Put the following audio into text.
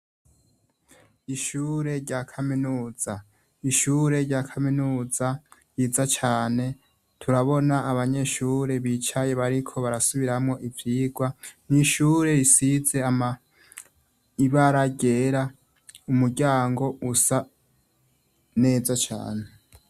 ishure rya kaminuza ryiza cane abanyeshure bicaye bariko barasubiramwo ivyirwa, ishure risize ibara ryera umuryango usa neza cane.